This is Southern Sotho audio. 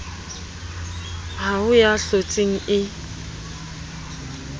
ha ho ya hlotseng e